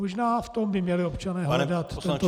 Možná v tom by měli občané hledat tento důvod.